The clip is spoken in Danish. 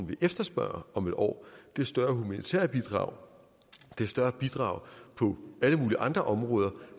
vil efterspørge om et år er større humanitære bidrag større bidrag på alle mulige andre områder